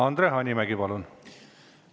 Andre Hanimägi, palun!